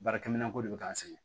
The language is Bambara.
Baarakɛminɛn ko de be k'an sɛgɛn